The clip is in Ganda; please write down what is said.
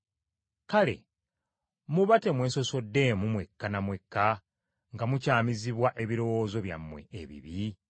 kale muba temwesosoddeemu mwekka na mwekka nga mukyamizibwa ebirowoozo byammwe ebibi?